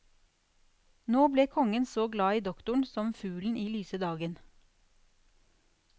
Nå ble kongen så glad i doktoren som fuglen i lyse dagen.